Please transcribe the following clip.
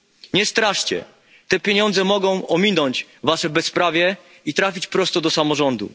Nie straszcie, te pieniądze mogą ominąć wasze bezprawie i trafić prosto do samorządu.